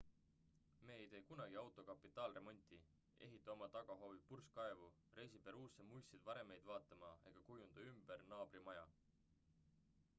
me ei tee kunagi auto kapitaalremonti ehita oma tagahoovi purskkaevu reisi peruusse muistseid varemeid vaatama ega kujunda ümber naabri maja